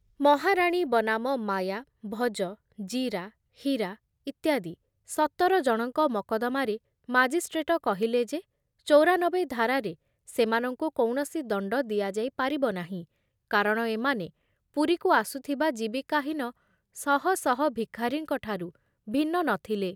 ମହାରାଣୀ ବନାମ ମାୟା, ଭଜ, ଜୀରା, ହୀରା ଇତ୍ୟାଦି ସତର ଜଣଙ୍କ ମକଦ୍ଦମାରେ ମାଜିଷ୍ଟ୍ରେଟ କହିଲେ ଯେ ଚୌରାନବେ ଧାରାରେ ସେମାନଙ୍କୁ କୌଣସି ଦଣ୍ଡ ଦିଆଯାଇ ପାରିବ ନାହିଁ କାରଣ ଏମାନେ ପୁରୀକୁ ଆସୁଥିବା ଜୀବିକାହୀନ ଶହ ଶହ ଭିଖାରୀଙ୍କଠାରୁ ଭିନ୍ନ ନ ଥିଲେ ।